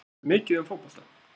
Veistu mikið um fótbolta?